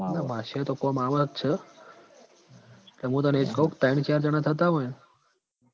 ના બાદશાહ તો કોમ આવ જ છ મુ તન એ કઉં તૈણ ચાર જણા થતા હોય ન